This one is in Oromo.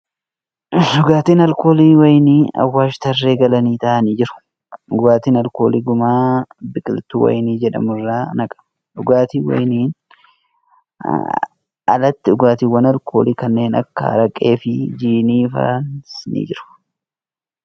Dhugaatiin alkoolii wayinii Awwaash tarree galanii taa'anii jiru . Dhugaatiin alkoolii gumaa biqiltuu wayinii jedhamu irraa naqama . Dhugaatii wayiniin alattii dhugaatiiwwan alkoolii kanneen akka araqee fi jiinii faanis ni argamu.